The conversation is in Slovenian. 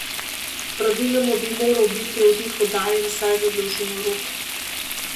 Praviloma bi moral biti od njih oddaljen vsaj za dolžino rok.